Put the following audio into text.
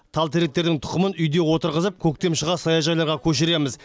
тал теректердің тұқымын үйде отырғызып көктем шыға саяжайларға көшіреміз